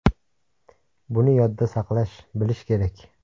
Buni yodda saqlash, bilish kerak.